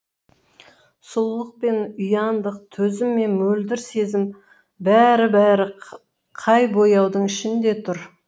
сұлулық пен ұяңдық төзім мен мөлдір сезім бәрі бәрі қай бояудың ішінде тұр